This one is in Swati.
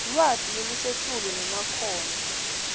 lwati lolusetulu nemakhono